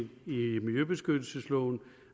miljøbeskyttelsesloven